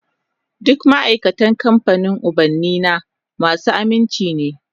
Dukan ma'aikatan kamfanin ubannina masu aminci ne